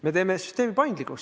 Me teeme süsteemi paindlikuks.